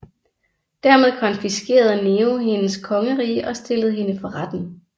Dermed konfiskerede Nero hendes kongerige og stillede hende for retten